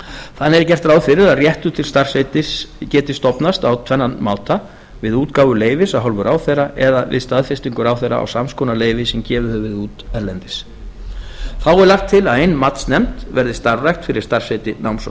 þannig er gert ráð fyrir að réttur til starfsheitis geti stofnast á tvennan máta við útgáfu leyfis af hálfu ráðherra eða við staðfestingu ráðherra á sams konar leyfi sem gefið hefur verið út erlendis þá er lagt til að ein matsnefnd verði starfrækt fyrir starfsheiti náms og